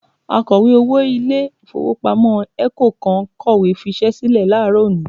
Akọ̀wé-owó ilé-ìfowópamọ́ ECO kan kọ̀wé fiṣẹ́ sílẹ̀ láàárọ̀ òní